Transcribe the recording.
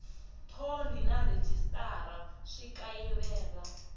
thoni na rhejisitara swi kayivela